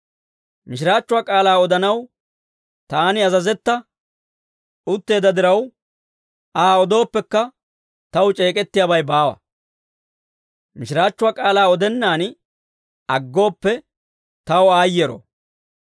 Mishiraachchuwaa k'aalaa odanaw taani azazetta utteedda diraw, Aa odooppekka taw c'eek'ettiyaabay baawa. Mishiraachchuwaa k'aalaa odennaan aggooppe, taw aayyero.